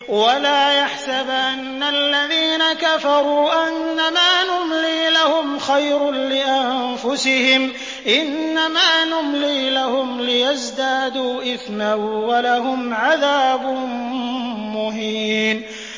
وَلَا يَحْسَبَنَّ الَّذِينَ كَفَرُوا أَنَّمَا نُمْلِي لَهُمْ خَيْرٌ لِّأَنفُسِهِمْ ۚ إِنَّمَا نُمْلِي لَهُمْ لِيَزْدَادُوا إِثْمًا ۚ وَلَهُمْ عَذَابٌ مُّهِينٌ